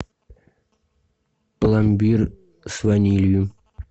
пломбир с ванилью